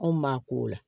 Anw m'a ko o la